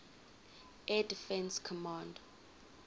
air defense command